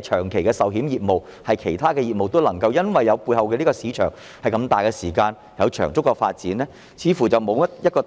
長期的人壽保險業務，而是其他業務都能夠因為背後有龐大市場而有長足的發展？